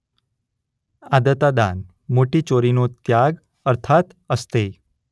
અદતાદાન - મોટી ચોરીનો ત્યાગ અર્થાત્ અસ્તેય.